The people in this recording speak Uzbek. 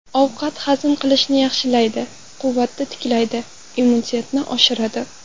Ovqat hazm qilishni yaxshilaydi, quvvatni tiklaydi, immunitetni oshiradi.